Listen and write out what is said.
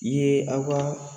I ye aw ka